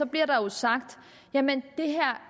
bliver der jo sagt jamen det her